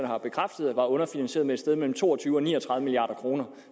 har bekræftet var underfinansieret med et sted mellem to og tyve og ni og tredive milliard kroner